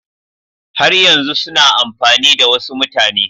Har yanzu suna amfani da wasu mutane